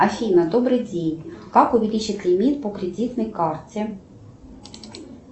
афина добрый день как увеличить лимит по кредитной карте